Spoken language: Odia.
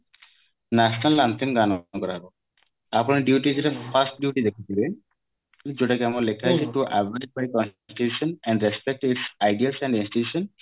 national anthem ଗାନ କରାହେବ ଆପଣ duties ରେ first duty ଦେଖୁଥିବେ ଯୋଉଟା କି ଆମର ଲେଖା ହେଇଥିବ